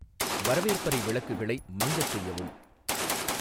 வரவேற்பறை விளக்குகளை மங்கச்செய்யவும்